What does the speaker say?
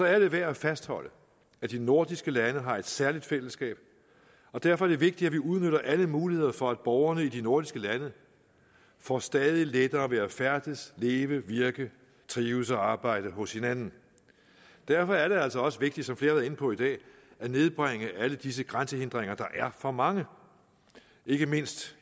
er det værd at fastholde at de nordiske lande har et særligt fællesskab derfor er det vigtigt at vi udnytter alle muligheder for at borgerne i de nordiske lande får stadig lettere ved at færdes leve virke trives og arbejde hos hinanden derfor er det altså også vigtigt som flere inde på i dag at nedbringe alle disse grænsehindringer der er for mange ikke mindst